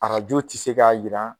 Arajo tɛ se k'a yira